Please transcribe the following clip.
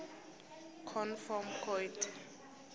conv form coid